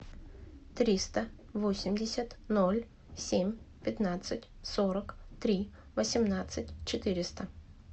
триста восемьдесят ноль семь пятнадцать сорок три восемнадцать четыреста